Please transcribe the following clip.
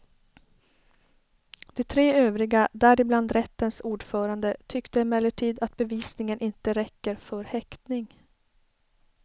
De tre övriga, däribland rättens ordförande, tyckte emellertid att bevisningen inte räcker för häktning.